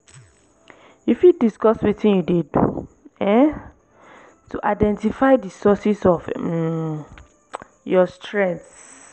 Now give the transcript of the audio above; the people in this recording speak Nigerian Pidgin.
you fit discuss wetin you dey do um to identify di sources of um your stress?